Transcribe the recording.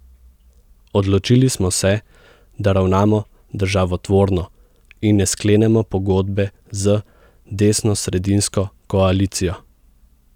Odločili smo se, da ravnamo državotvorno in ne sklenemo pogodbe z desnosredinsko koalicijo.